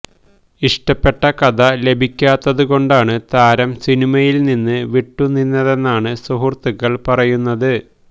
ഇഷ്ടപ്പെട്ട കഥ ലഭിക്കാത്തതു കൊണ്ടാണ് താരം സിനിമയില് നിന്നു വിട്ടുനിന്നതെന്നാണ് സുഹൃത്തുക്കള് പറയുന്നത്